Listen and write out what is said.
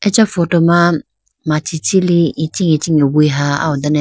acha photo ma machi chilly ichi ichinge wuha aho done.